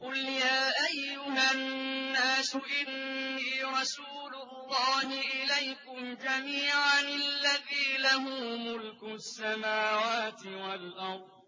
قُلْ يَا أَيُّهَا النَّاسُ إِنِّي رَسُولُ اللَّهِ إِلَيْكُمْ جَمِيعًا الَّذِي لَهُ مُلْكُ السَّمَاوَاتِ وَالْأَرْضِ ۖ